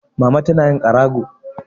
Mama tana yin ƙarago.